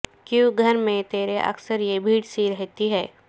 کیوں گھر میں تیرے اکثر یہ بھیڑ سی رہتی ہے